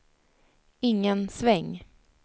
ingen sväng